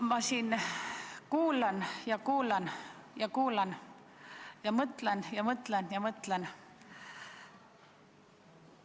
Ma siin kuulan ja kuulan ja kuulan ja mõtlen ja mõtlen ja mõtlen.